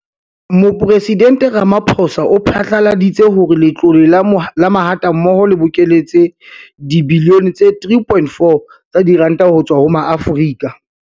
Mopresidente Ramaphosa o phatlaladitse hore Letlole la Mahatammoho le bokeletse dibilione tse 3.4 tsa diranta ho tswa ho Maafrika